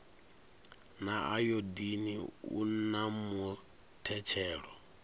na ayodini u na muthetshelo